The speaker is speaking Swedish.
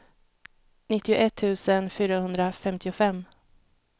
nittioett tusen fyrahundrafemtiofem